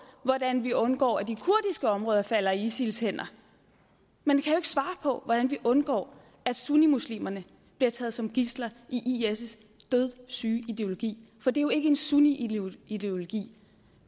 hvordan vi undgår at de kurdiske områder falder i isils hænder men i kan jo svare på hvordan vi undgår at sunnimuslimerne bliver taget som gidsler i isils dødssyge ideologi for det er jo ikke en sunnimuslimsk ideologi